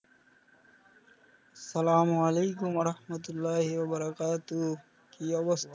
আসসালাম ওয়ালাইকুম আহমদুল্লাহ ইয়ে বরাকাতু কি অবস্থা?